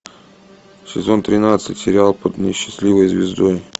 сезон тринадцать сериал под несчастливой звездой